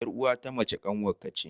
Ƴar'uwa ta mace kanwar ka ce.